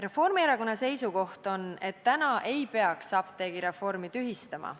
Reformierakonna seisukoht on, et me ei peaks apteegireformi tühistama.